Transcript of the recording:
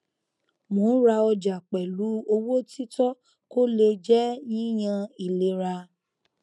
mo ń ra ọjà pẹlú owó títọ kó le jẹ yíyan ìlera